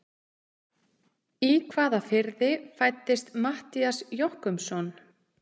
Í hvaða firði fæddist Matthías Jochumsson?